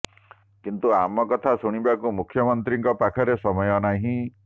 କିନ୍ତୁ ଆମ କଥା ଶୁଣିବାକୁ ମୁଖ୍ୟମନ୍ତ୍ରୀଙ୍କ ପାଖରେ ସମୟ ନାହିଁ